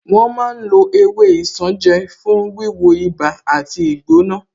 Wọ́n ma ń lo ewé isanje fún wíwo ibà àti ìgbóná